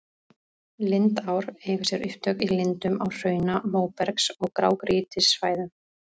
Lindár eiga sér upptök í lindum á hrauna-, móbergs- og grágrýtissvæðum.